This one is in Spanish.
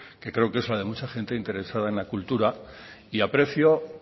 que creo que es la de mucha gente interesada en la cultura y aprecio